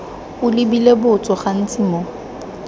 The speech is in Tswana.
o lebile botso gantsi mo